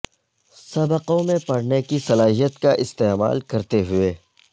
سبقوں میں پڑھنے کی صلاحیت کا استعمال کرتے ہوئے